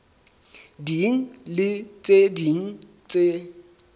ding le tse ding tse